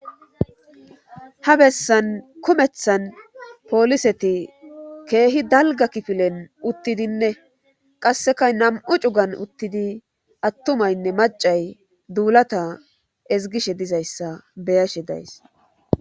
ha bessan kumethan pooliseti keehi dalga kifilen uttidinne qasseka nam'u cugan uttidi attumaynne macay duulata ezgishe dizayssa beyashe days